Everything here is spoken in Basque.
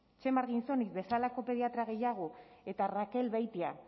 txema arginzoniz bezalako pediatra gehiago eta raquel beitia